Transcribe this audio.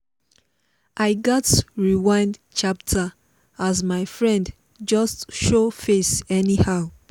i gats rewind chapter as my friend just show face anyhow